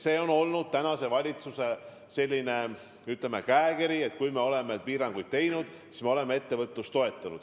See on olnud tänase valitsuse käekiri, et kui me oleme piiranguid teinud, siis me oleme ka ettevõtlust toetanud.